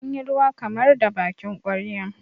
an yi ruwa kamar da bakin ƙwarya